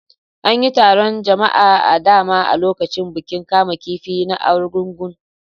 An yi taron jama'a da dama a lokacin bukin kamun kifi na Argungun.